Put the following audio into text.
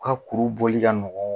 Ka kuru bɔli ka nɔgɔ